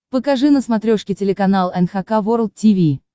покажи на смотрешке телеканал эн эйч кей волд ти ви